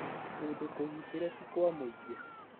Kũndũ kũgitĩre ti kwa mũingĩ